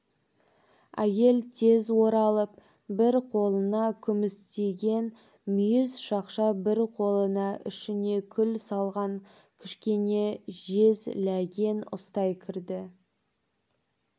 әйел тез оралып бір қолына күмістеген мүйіз шақша бір қолына ішіне күл салған кішкене жез ләген ұстай кірді